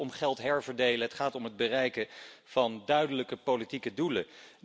Het gaat niet om geld herverdelen. Het gaat om het bereiken van duidelijke politieke doelen.